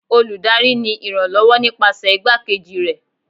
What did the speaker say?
olùdarí ni iranlọwọ nipasẹ igbakejí rẹ